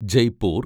Jaipur